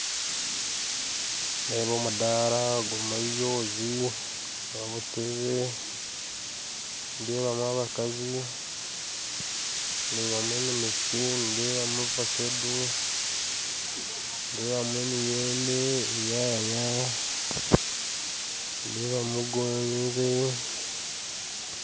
Nindeeba omudaara gurimu ebyozi n'obutebe, ndeebamu abakazi ndeebamu eminekye ndeebamu evakedo ndeebamu emiyembe ndeebamu enyanya nindebamu gonje